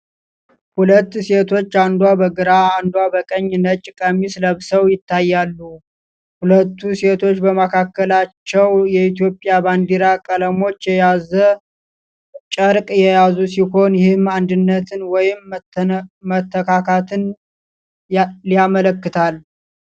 ሁለት ሴቶች፣ አንዷ በግራ አንዷ በቀኝ፣ ነጭ ቀሚስ ለብሰው ይታያሉ። ሁለቱ ሴቶች በመካከላቸው የኢትዮጵያን ባንዲራ ቀለሞች የያዘ ጨርቅ የያዙ ሲሆን፣ ይህም አንድነትን ወይንም መተካካትን ሊያመለክታል።